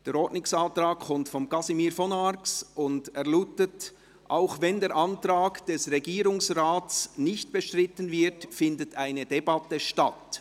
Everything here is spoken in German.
Der Ordnungsantrag kommt von Casimir von Arx und lautet: «Auch wenn der Antrag des Regierungsrates nicht bestritten wird, findet eine Debatte statt.